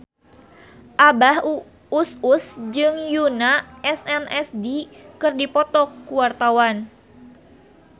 Abah Us Us jeung Yoona SNSD keur dipoto ku wartawan